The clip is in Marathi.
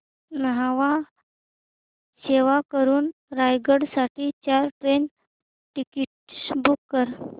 न्हावा शेवा वरून रायगड साठी चार ट्रेन टिकीट्स बुक कर